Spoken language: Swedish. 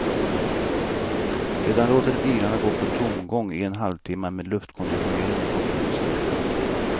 Sedan låter de bilarna gå på tomgång i en halvtimma med luftkonditioneringen på full styrka.